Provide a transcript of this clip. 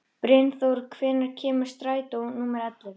Brynþór, hvenær kemur strætó númer ellefu?